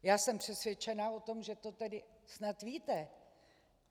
Já jsem přesvědčena o tom, že to tedy snad víte.